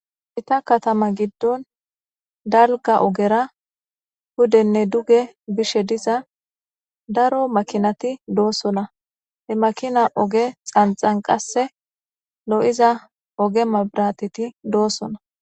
ita katama giddon dalga ogera hudenne duge bishe diza daro makinati doosona he makina oge xanxan qasse lo7iza oge mabrateti doosona